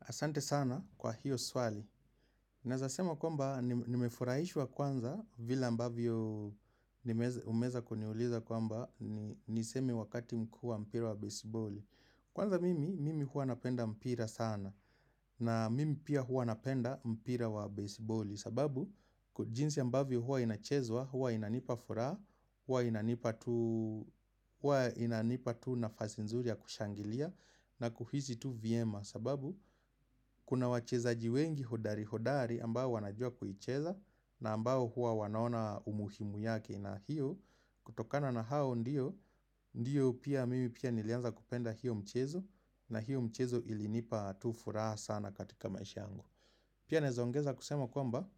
Asante sana kwa hiyo swali. Naeza sema kwamba nimefurahishwa kwanza vile ambavyo umeza kuniuliza kwamba niseme wakati mkuu wa mpira wa baseballi. Kwanza mimi, mimi huwa napenda mpira sana na mimi pia huwa napenda mpira wa baseballi. Sababu, jinsi ambavyo huwa inachezwa, huwa inanipa furaha, huwa inanipa tu nafasi nzuri ya kushangilia na kuhisi tu vyema. Sababu, kuna wachezaji wengi hodari hodari ambao wanajua kuicheza na ambao huwa wanaona umuhimu yake na hiyo. Kutokana na hao ndiyo, ndiyo pia mimi pia nilianza kupenda hiyo mchezo na hiyo mchezo ilinipa tu furaha sana katika maisha yangu. Pia naeza ongeza kusema kwamba,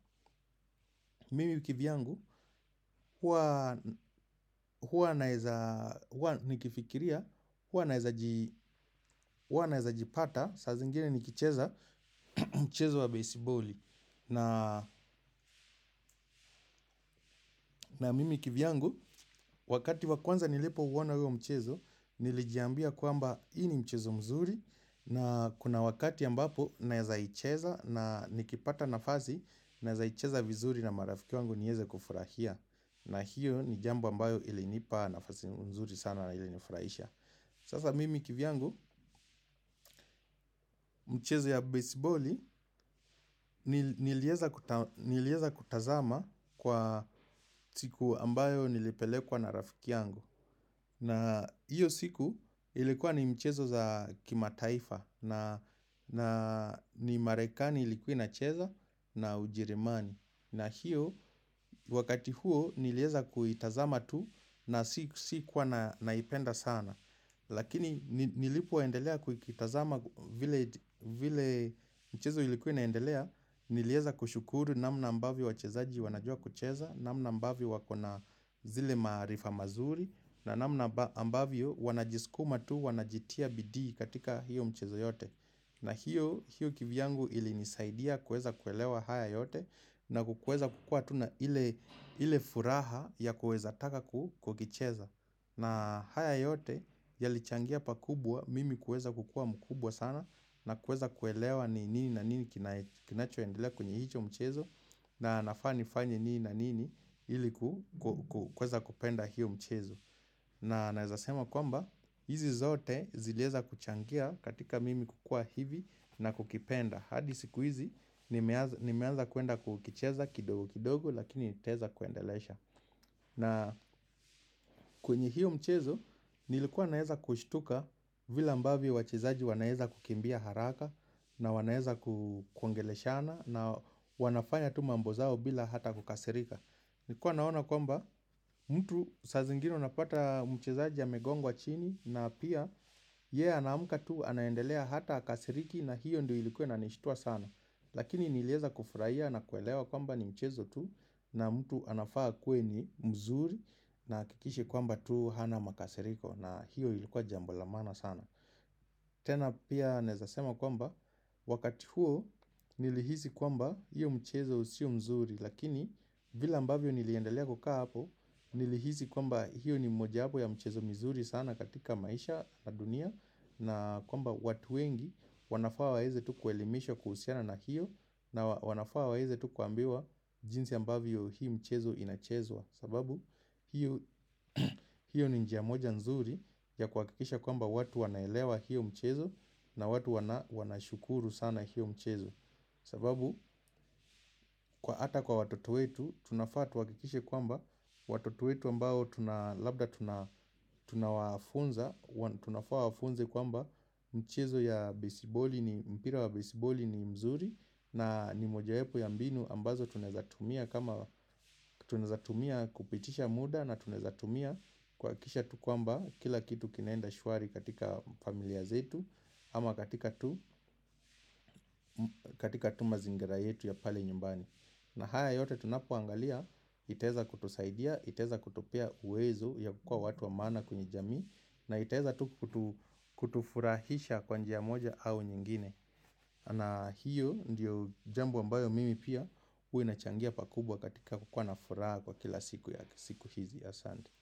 mimi kivyangu, huwa naeza, huwa nikifikiria, huwa naeza jipata, sa zingine nikicheza mchezo wa baseballi. Na mimi kivyangu, wakati wa kwanza nilipouona huyo mchezo, nilijambia kwamba, hii ni mchezo mzuri, na kuna wakati ambapo, naeza icheza, na nikipata nafasi, naeza icheza vizuri na marafiki wangu nieze kufurahia. Na hiyo ni jambo ambayo ilinipa nafasi nzuri sana na ilinifurahisha. Sasa mimi kivyangu mchezo ya baseballi nilieza kutazama kwa siku ambayo nilipelekwa na rafiki yangu. Na hiyo siku ilikuwa ni mchezo za kimataifa na ni marekani ilikuwa inacheza na ujerumani. Na hiyo wakati huo nilieza kuitazama tu na sikuwa naipenda sana. Lakini nilipoendelea kuitazama vile mchezo ilikuwa inaendelea nilieza kushukuru namna ambavyo wachezaji wanajua kucheza, namna ambavyo wakona zile maarifa mazuri, na namna ambavyo wanajiskuma tu wanajitia bidi katika hiyo mchezo yote. Na hiyo kivyangu ilinisaidia kuweza kuelewa haya yote na kukueza kukua tuna ile furaha ya kueza taka kukicheza. Na haya yote yalichangia pakubwa mimi kuweza kukuwa mkubwa sana na kuweza kuelewa ni nini na nini kinacho endelea kwenye hicho mchezo na nafaa nifanye nini na nini ili kuweza kupenda hiyo mchezo. Na naeza sema kwamba hizi zote zileza kuchangia katika mimi kukuwa hivi na kukipenda. Hadi siku hizi nimeanza kuenda kukicheza kidogo kidogo lakini nitaeza kuendelesha. Na kwenye hiyo mchezo nilikuwa naeza kushtuka vile ambavyo wachezaji wanaeza kukimbia haraka na wanaeza kuongeleshana na wanafanya mambo zao bila hata kukasirika. Nikuwa naona kwamba mtu saa zingine unapata mchezaji amegongwa chini na pia yeye anamka tu anaendelea hata hqkasiriki na hiyo ndio ilikuwa inanishitua sana. Lakini nilieza kufurahia na kuelewa kwamba ni mchezo tu na mtu anafaa akuwe ni mzuri na ahakikishe kwamba tu hana makasiriko na hiyo ilikuwa jambo la maana sana. Tena pia naeza sema kwamba wakati huo nilihisi kwamba hiyo mchezo sio mzuri. Lakini vile ambavyo niliendalea kukaa hapo nilihisi kwamba hiyo ni mojawapo ya mchezo mzuri sana katika maisha na dunia. Na kwamba watu wengi wanafawaa waeze tu kuelimishwa kuhusiana na hiyo na wanafaa waeze tu kuambiwa jinsi ambavyo hii mchezo inachezwa. Sababu, hiyo ni njia moja nzuri ya kuhakikisha kwamba watu wanaelewa hiyo mchezo na watu wanashukuru sana hiyo mchezo. Sababu, hata kwa watoto wetu tunafaa tuhakikishe kwamba watoto wetu ambao tuna labda tuna tunafaa wafunze kwamba mchezo ya besiboli ni mpira wa besiboli ni mzuri. Na ni mojawapo ya mbinu ambazo tunaeza tumia kama tunaeza tumia kupitisha muda na tunaeza tumia kuhakikisha tu kwamba kila kitu kinaenda shwari katika familia zetu ama katika katika tu mazingira yetu ya pale nyumbani na hayo yote tunapoangalia itaeza kutusaidia itaeza kutupea uwezo ya kuwa watu wa maana kwa jamii. Na itaeza tu kutufurahisha kwa njia moja au nyingine. Na hiyo ndiyo jambo ambayo mimi pia huwa inachangia pakubwa katika kukuwa na furaha kwa kila siku hizi asante.